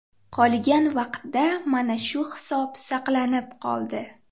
Qolgan vaqtda mana shu hisob saqlanib qoldi.